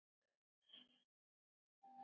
Því þá?